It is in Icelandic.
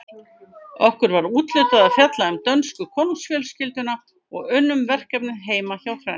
Okkur var úthlutað að fjalla um dönsku konungsfjölskylduna og unnum verkefnið heima hjá Hrönn.